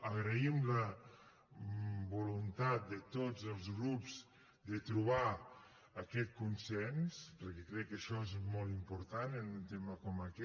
agraïm la voluntat de tots els grups de trobar aquest consens perquè crec que això és molt important en un tema com aquest